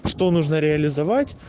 что нужно реализовать